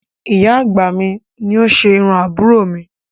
Ìyá àgbà mi ni ó ṣe irú àbúrò mi